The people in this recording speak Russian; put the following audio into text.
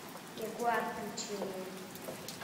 ягуар включи мне